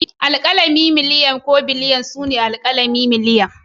Alkalumma kamar miliyan ko biliyan su ne miliyan ko biliyan